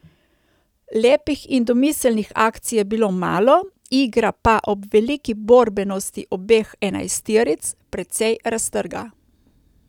Lepih in domiselnih akcij je bilo malo, igra pa ob veliki borbenosti obeh enajsteric precej raztrgana.